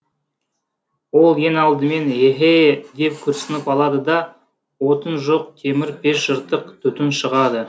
ол ең алдымен еһе деп күрсініп алады да отын жоқ темір пеш жыртық түтін шығады